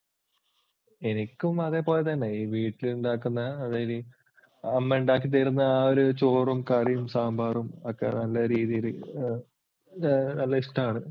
എനിക്കും അത് പോലെ തന്നെ. ഈ വീട്ടിലുണ്ടാക്കുന്ന, അമ്മയുണ്ടാക്കി തരുന്ന ആ ഒരു ചോറും കറിയും സാമ്പാറും ഒക്കെ നല്ല രീതിയിൽ ആഹ് അത് ഇഷ്ടമാണ്.